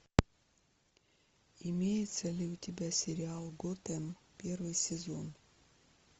имеется ли у тебя сериал готэм первый сезон